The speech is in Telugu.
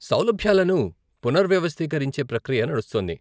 సౌలభ్యాలను పునర్వ్యవస్థీకరించే ప్రక్రియ నడుస్తోంది.